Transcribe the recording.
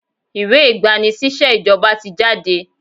Ìwé ìgbà-ni-síṣẹ́ ìjọba ti jáde.